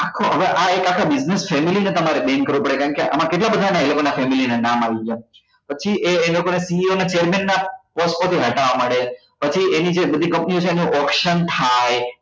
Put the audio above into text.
આખો હવે એક આખો business family છે તમારો bank કારણ કે એમાં કેટલા બધા એ લોકો ના family ના નામ આવી ગયા પછી એ એ લોકો ને CO ના chairman ના post માં થી હટવા માંડે પછી એની જે બધી company ઓ છે એનું auction થાય